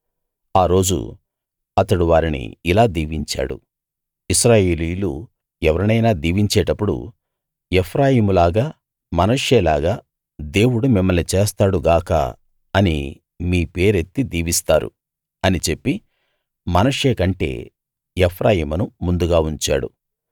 ఆ రోజు అతడు వారిని ఇలా దీవించాడు ఇశ్రాయేలీయులు ఎవరినైనా దీవించేటపుడు ఎఫ్రాయిములాగా మనష్షేలాగా దేవుడు మిమ్మల్ని చేస్తాడు గాక అని మీ పేరెత్తి దీవిస్తారు అని చెప్పి మనష్షే కంటే ఎఫ్రాయిమును ముందుగా ఉంచాడు